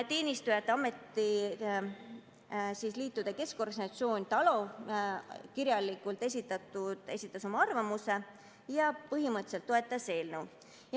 Teenistujate Ametiliitude Keskorganisatsioon TALO esitas oma arvamuse kirjalikult ja põhimõtteliselt toetas eelnõu.